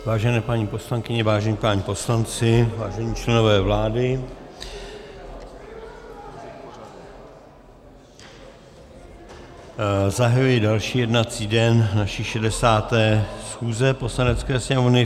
Vážené paní poslankyně, vážení páni poslanci, vážení členové vlády, zahajuji další jednací den naší 60. schůze Poslanecké sněmovny.